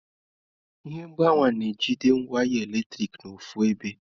Ihe mgbawa na-ejide waya eletrik n'ọfu ebe.